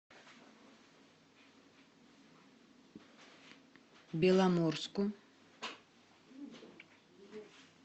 беломорску